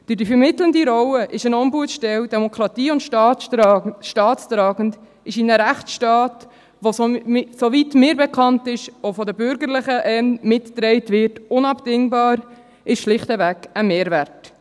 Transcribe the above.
Durch die vermittelnde Rolle ist eine Ombudsstelle demokratie- und staatstragend und ist in einem Rechtsstaat, der – soweit mir bekannt ist – auch von den Bürgerlichen mitgetragen wird, unabdingbar, ist schlichtweg ein Mehrwert.